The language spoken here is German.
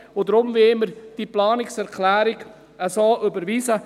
Deshalb wollen wir diese Planungserklärung so überweisen.